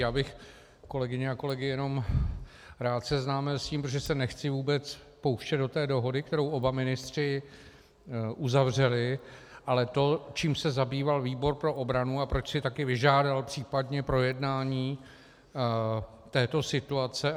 Já bych kolegyně a kolegy jenom rád seznámil s tím, protože se nechci vůbec pouštět do té dohody, kterou oba ministři uzavřeli, ale to, čím se zabýval výbor pro obranu a proč si také vyžádal případně projednání této situace.